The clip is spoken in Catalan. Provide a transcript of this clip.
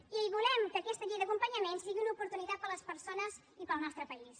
i volem que aquesta llei d’acompanyament sigui una oportunitat per a les persones i per al nostre país